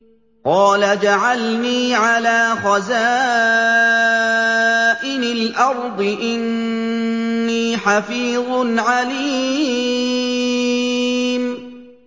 قَالَ اجْعَلْنِي عَلَىٰ خَزَائِنِ الْأَرْضِ ۖ إِنِّي حَفِيظٌ عَلِيمٌ